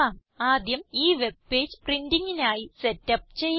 ആദ്യം ഈ web page printingന് ആയി സെറ്റ് അപ്പ് ചെയ്യാം